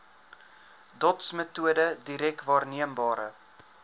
dotsmetode direk waarneembare